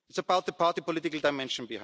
It's about the party political dimension.